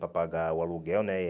Para pagar o aluguel, né?